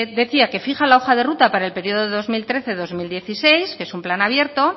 decía que fija la hoja de ruta para el periodo de dos mil trece dos mil dieciséis que es un plan abierto